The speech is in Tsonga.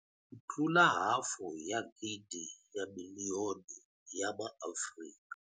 Ku tlula hafu ya gidi ya miliyoni ya MaAfrika.